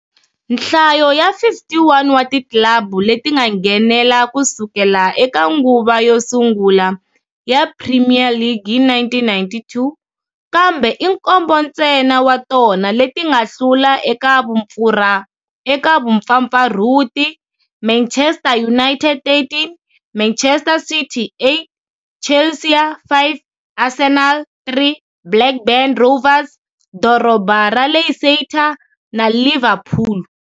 Nhlayo ya 51 wa ti club leti nga nghenela ku sukela eka nguva yo sungula ya Premier League hi 1992, kambe i nkombo ntsena wa tona leti nga hlula eka vumpfampfarhuti-Manchester United, 13, Manchester City, 8, Chelsea, 5, Arsenal, 3, Blackburn Rovers, Doroba ra Leicester na Liverpool.